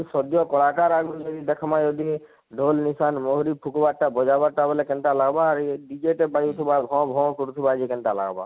ଶଯ୍ୟା କଳାକାର ଆଗରୁ ମାନେ ଦେଖମା ଯଦି ଢୋଲ ଲିସାନ ମହୁରୀ ଫୁକବାର ଟା ବଜାବାର ଟା ବଇଲେ କେନତା ଲାଗବା ଆଉ ଇ DJ ଜେନ ବାଜୁ ଥିବା ଘଅଁ ଘଅଁ କରୁ ଥିବା ଯେ କେନତା ଲାଗବା